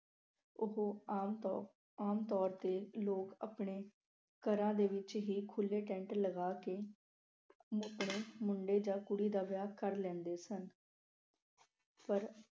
ਉਹ ਆਮ ਤੋ ਅਹ ਆਮ ਤੌਰ ਤੇ ਲੋਕ ਆਪਣੇ ਘਰਾਂ ਦੇ ਵਿੱਚ ਹੀ ਖੁੱਲ੍ਹੇ ਟੈਂਟ ਲਗਾ ਕੇ ਆਪਣੇ ਮੁੰਡੇ ਜਾਂ ਕੁੜੀ ਦਾ ਵਿਆਹ ਕਰ ਲੈਂਦੇ ਸਨ ਪਰ